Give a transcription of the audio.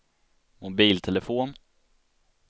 mobiltelefon